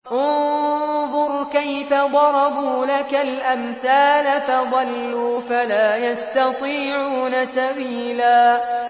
انظُرْ كَيْفَ ضَرَبُوا لَكَ الْأَمْثَالَ فَضَلُّوا فَلَا يَسْتَطِيعُونَ سَبِيلًا